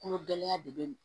Kolo gɛlɛya de be